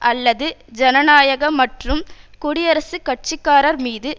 அல்லது ஜனநாயக மற்றும் குடியரசுக்கட்சிக்காரர் மீது